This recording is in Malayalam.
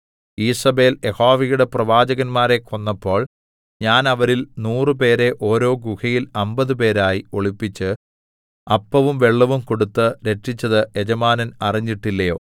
ഈസേബെൽ യഹോവയുടെ പ്രവാചകന്മാരെ കൊന്നപ്പോൾ ഞാൻ അവരിൽ നൂറുപേരെ ഓരോ ഗുഹയിൽ അമ്പതുപേരായി ഒളിപ്പിച്ച് അപ്പവും വെള്ളവും കൊടുത്ത് രക്ഷിച്ചത് യജമാനൻ അറിഞ്ഞിട്ടില്ലയോ